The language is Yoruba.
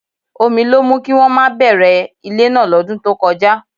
Omi ló mú kí wọ́n má bẹ̀rẹ̀ ilé náà lọ́dún tó kọjá